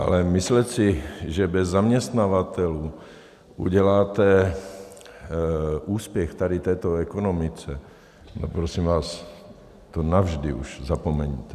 Ale myslet si, že bez zaměstnavatelů uděláte úspěch tady této ekonomice, no prosím vás, to navždy už zapomeňte.